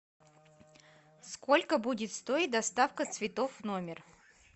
сколько будет стоить доставка цветов в номер